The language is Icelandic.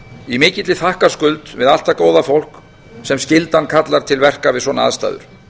í mikilli þakkarskuld við allt það góða fólk sem skyldan kallar til verka við svona aðstæður